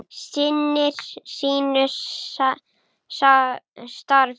Sinnir sínu starfi.